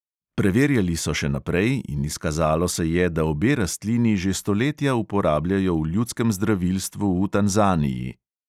Preverjali so še naprej in izkazalo se je, da obe rastlini že stoletja uporabljajo v ljudskem zdravilstvu v tanzaniji.